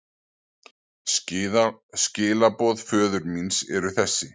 Skilaboð föður míns eru þessi.